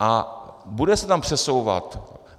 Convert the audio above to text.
A bude se tam přesouvat.